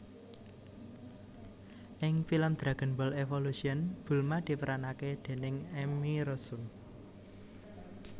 Ing pilem Dragonball Evolution Bulma diperanake déning Emmy Rossum